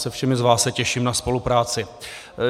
Se všemi z vás se těším na spolupráci.